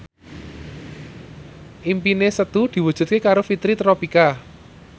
impine Setu diwujudke karo Fitri Tropika